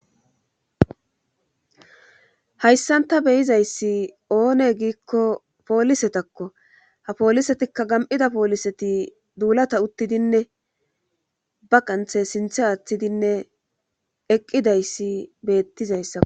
Hayssan ta be'izayssi oonee giikko polisetakko ha polisetikka gam'ida poliseti duulata utidinne ba qanththe sinththa aathidinne eqqidayssi beetidayssakko.